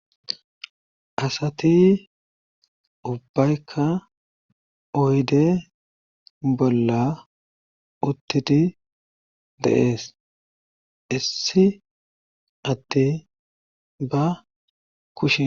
Asati ubbaykka oyde bolla uttidi deees issi addeyi ba kushe